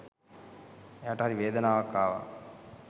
එයාට හරි වේදනාවක් ආවා.